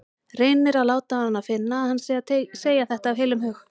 Reynir að láta hana finna að hann sé að segja þetta af heilum hug.